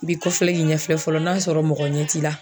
I b'i kɔfilɛ k'i ɲɛfilɛ fɔlɔ n'a sɔrɔ mɔgɔ ɲɛ t'i la